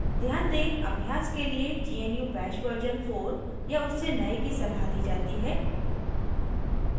ध्यान दें अभ्यास के लियए gnu bash version 4 या उससे नए की सलाह दी जाती है